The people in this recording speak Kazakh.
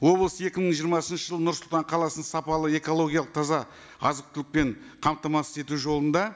облыс екі мың жиырмасыншы жылы нұр сұлтан қаласын сапалы экологиялық таза азық түлікпен қамтамасыз ету жолында